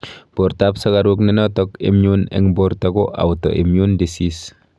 Portaap sukaruk nenotok immune eng porta ko auto immune deasese